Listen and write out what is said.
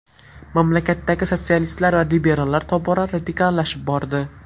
Mamlakatdagi sotsialistlar va liberallar tobora radikallashib bordi.